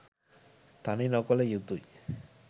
තනි නොකළ යුතුයි